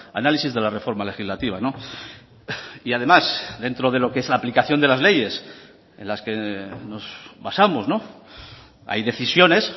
análisis de la reforma legislativa y además dentro de lo que es la aplicación de las leyes en las que nos basamos hay decisiones